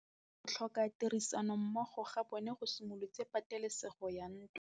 Go tlhoka tirsanommogo ga bone go simolotse patêlêsêgô ya ntwa.